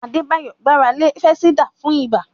Adebayo gbára lé fansidar fún ibà.